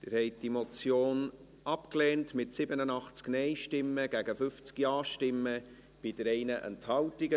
Sie haben diese Motion abgelehnt, mit 87 Nein- gegen 50 Ja-Stimmen bei 3 Enthaltungen.